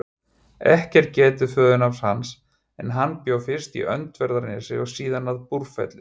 Ekki er getið föðurnafns hans en hann bjó fyrst í Öndverðarnesi og síðan að Búrfelli.